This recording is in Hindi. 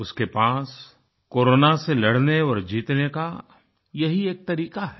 उसके पास कोरोना से लड़ने और जीतने का यही एक तरीका है